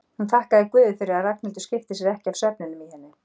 Hún þakkaði guði fyrir að Ragnhildur skipti sér ekki af svefninum í henni.